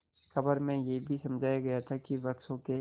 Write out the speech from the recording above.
खबर में यह भी समझाया गया था कि वृक्षों के